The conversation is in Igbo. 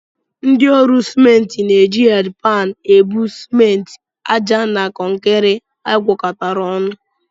Ndị ọrụ simenti na-eji hedịpan ebu simenti, àjà na kọnkịrị agwakọtara ọnụ